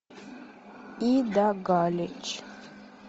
ида галич